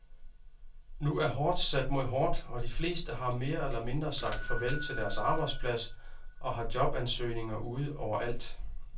Nu er hårdt sat mod hårdt, og de fleste har mere eller mindre sagt farvel til deres arbejdsplads og har jobansøgninger ude over alt.